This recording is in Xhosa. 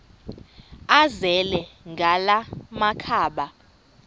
azele ngala makhaba